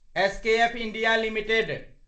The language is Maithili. SKF India limited